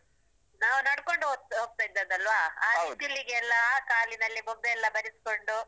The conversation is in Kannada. ನಾವು ನಡ್ಕೊಂಡು ಹೋದ್~ ಹೋಗ್ತಾ ಇದ್ದದ್ದಲ್ವ? ಆ ಬಿಸ್ಲಿಗೆಲ್ಲಾ ಆ ಕಾಲಿನಲ್ಲಿ ಬೊಬ್ಬೆ ಎಲ್ಲ ಬರಿಸ್ಕೊಂಡು.